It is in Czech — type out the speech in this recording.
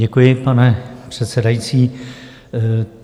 Děkuji, pane předsedající.